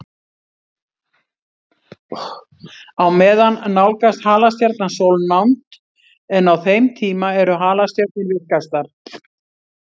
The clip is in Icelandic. Á meðan nálgast halastjarnan sólnánd, en á þeim tíma eru halastjörnur virkastar.